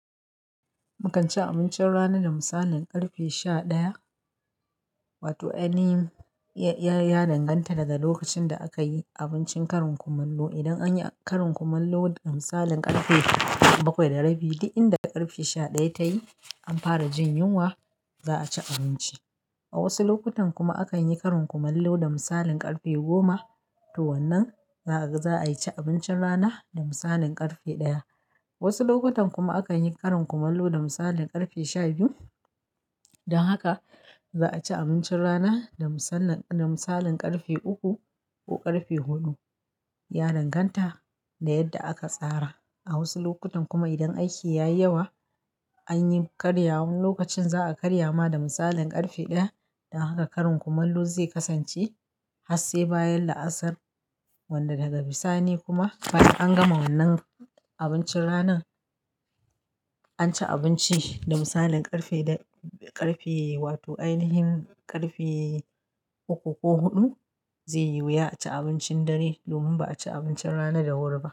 Mukan ci abincin rana da misalin ƙarfe sha ɗaya, wato anyi ya danganta daga lokacin da aka yi abincin karin kumallo. Idan an yi karin kumallo da misalin ƙarfe bakwai da rabi, duk inda ƙarfe sha ɗaya ta yi an fara jin yunwa, za a ci abinci. A wasu lokutan kuma akan yi karin kumallo da misalin ƙarfe goma. To wannan za a yi abincin rana da misalin ƙarfe ɗaya. Wasu lokutan kuma akan yi karin kumallo da misalin ƙarfe sha biyu. Don haka za a ci abincin rana da misalin ƙarfe uku ko ƙarfe huɗu, ya danganta da yadda aka tsara. A wasu lokutan kuma idan aiki ya yi yawa, an yi karyawan lokacin za a karya ma da misalin ƙarfe ɗaya. Don haka karin kumallo zai kasance har sai bayan la'asar, wanda daga bisani kuma bayan an gama wannan abincin rana, an ci abinci da misalin ƙarfe uku ko huɗu zai yi wuya a ci abincin dare domin ba a ci abincin rana da horo ba.